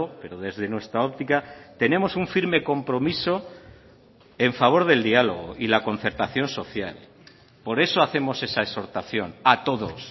pero desde nuestra óptica tenemos un firme compromiso en favor del diálogo y la concertación social por eso hacemos esa exhortación a todos